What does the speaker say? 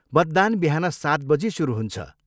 मतदान बिहान सात बजी सुरु हुन्छ।